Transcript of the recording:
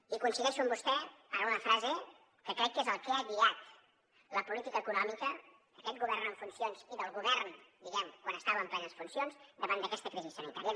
i coincideixo amb vostè en una frase que crec que és el que ha guiat la política econòmica d’aquest govern en funcions i del govern diguem ne quan estava en plenes funcions davant d’aquesta crisi sanitària